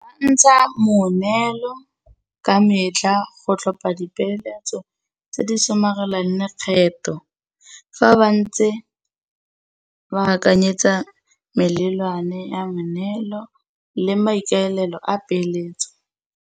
Ntsha moneelo ka metlha go tlhopa dipeeletso tse di somarelang lekgetho fa ba ntse ba akanyetsa melelwane ya moneelo le maikaelelo a peeletso.